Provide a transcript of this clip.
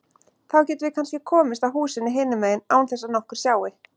Þá getum við kannski komist að húsinu hinum megin án þess að nokkur sjái.